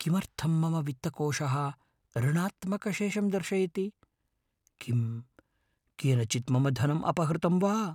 किमर्थं मम वित्तकोशः ऋणात्मकशेषं दर्शयति? किं केनचित् मम धनम् अपहृतं वा?